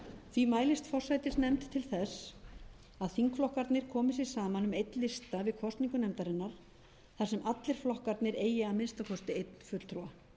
því mælist forsætisnefnd til þess að þingflokkarnir komi sér saman um einn lista við kosningu nefndarinnar þar sem allir flokkarnir eigi að minnsta kosti einn fulltrúa ekki er á